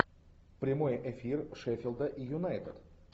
прямой эфир шеффилда и юнайтед